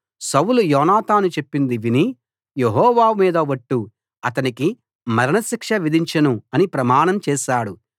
సౌలు యోనాతాను చెప్పింది విని యెహోవా మీద ఒట్టు అతనికి మరణ శిక్ష విధించను అని ప్రమాణం చేశాడు